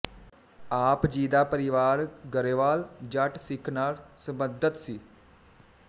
ਆਪ ਜੀ ਦਾ ਪਰਿਵਾਰ ਗਰੇਵਾਲ ਜੱਟ ਸਿੱਖ ਨਾਲ ਸਬੰਧਤ ਸੀ